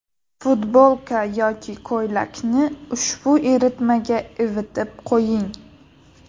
Futbolka yoki ko‘ylakni ushbu eritmaga ivitib qo‘ying.